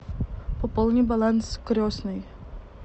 пополни баланс крестной